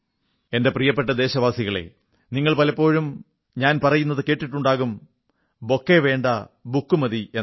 എന്റെ പ്രിയപ്പെട്ട ദേശവാസികളേ നിങ്ങൾ പലപ്പോഴും ഞാൻ പറയുന്നതു കേട്ടിട്ടുണ്ടാകും ബൊക്കേ വേണ്ട ബുക്ക മതി എന്ന്